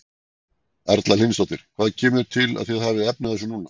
Erla Hlynsdóttir: Hvað kemur til að þið hafið efni á þessu núna?